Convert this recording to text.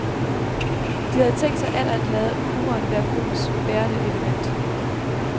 De havde tænkt sig atter at lade humoren være gruppens bærende element.